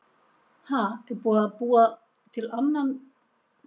Ha, er búið að búa til annan mig?